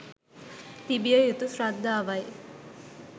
තිබිය යුතු ශ්‍රද්ධාවයි.